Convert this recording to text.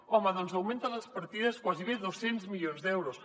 home doncs augmenta les partides gairebé dos cents milions d’euros